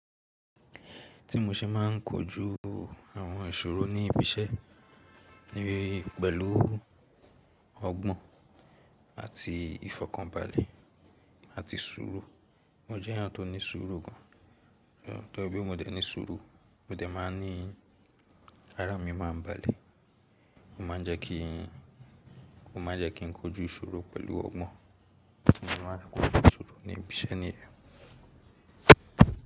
Tí mo ṣe má n kojú àwọn ìṣòro ní ibi iṣẹ́ pẹ̀lú ọgbọ́n àti ìfọ̀kànbalẹ̀ àti ṣòro. Mo jẹ́ eeyan tó ní ṣuuru gan, torí bí mo dẹ ní suuru mo dẹ máa ní ara mi máa ń balẹ̀. Ó ma jẹ́ kí n kojú ìṣòro pẹ̀lú ọgbọ́n, ti mo se máa n kojú ṣòro ní ibi iṣẹ́ ni.